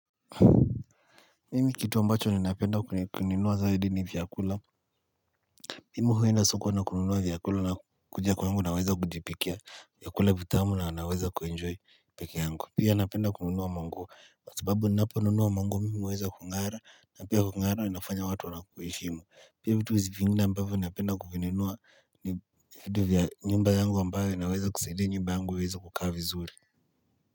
Mimi kitu ambacho ninapenda kununua zaidi ni vyakula Mimi huenda soko na kununua vyakula na kuja kwangu naweza kujipikia vyakula vitamu na naweza kuenjoy peke yangu. Pia napenda kununua manguo kwa sababu ninapo nunua manguo mimi huweza kung'ara na pia kung'ara inafanya watu wana kuheshimu. Pia vitu zingine ambavyo napenda kuvinunua ni vitu vya nyumba yungu ambayo inaweza kusaidia nyumba yangu iweze kukaa vizuri.